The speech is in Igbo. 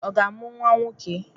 Ọ ga-amụ nwa nwoke?